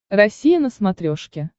россия на смотрешке